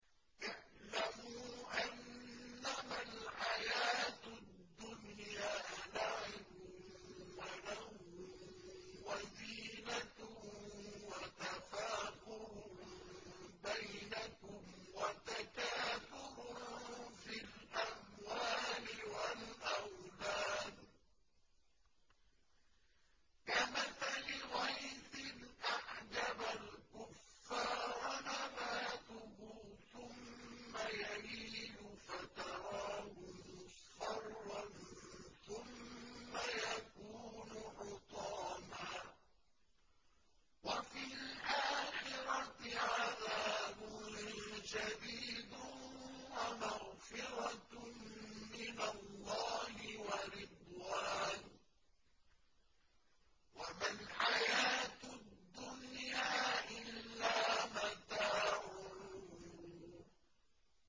اعْلَمُوا أَنَّمَا الْحَيَاةُ الدُّنْيَا لَعِبٌ وَلَهْوٌ وَزِينَةٌ وَتَفَاخُرٌ بَيْنَكُمْ وَتَكَاثُرٌ فِي الْأَمْوَالِ وَالْأَوْلَادِ ۖ كَمَثَلِ غَيْثٍ أَعْجَبَ الْكُفَّارَ نَبَاتُهُ ثُمَّ يَهِيجُ فَتَرَاهُ مُصْفَرًّا ثُمَّ يَكُونُ حُطَامًا ۖ وَفِي الْآخِرَةِ عَذَابٌ شَدِيدٌ وَمَغْفِرَةٌ مِّنَ اللَّهِ وَرِضْوَانٌ ۚ وَمَا الْحَيَاةُ الدُّنْيَا إِلَّا مَتَاعُ الْغُرُورِ